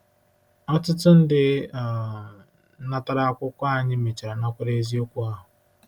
Ọtụtụ ndị um natara akwụkwọ anyị mechara nakwere eziokwu ahụ.